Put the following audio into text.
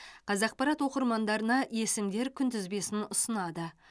қазақпарат оқырмандарына есімдер күнтізбесін ұсынады